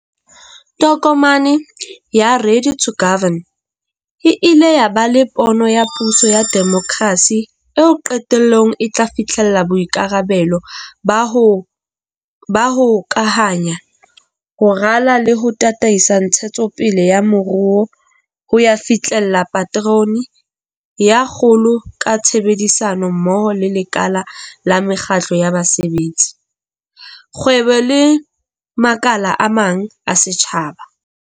Tokomane ya Ready to Govern, e ile ya ba le pono ya puso ya demokrasi eo qetellong e tla fihlella boikarabelo ba ho ba hokahanya. Ho rala le ho tataisa ntshetsopele ya moruo ho ya fihlella paterone ya kgolo ka tshebedisano mmoho le lekala la mekgatlo ya basebetsi, kgwebo le makala a mang a setjhaba.